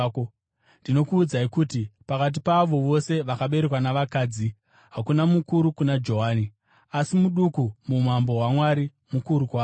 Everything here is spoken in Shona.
Ndinokuudzai kuti, pakati paavo vose vakaberekwa navakadzi hakuna mukuru kuna Johani; asi muduku muumambo hwaMwari mukuru kwaari.”